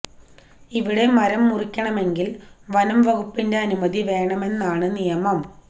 ഇവിടെ മരം മുറിക്കണമെങ്കില് വനം വകുപ്പിന്റെ അനുമതി വേണമെന്നാണ് നിയമം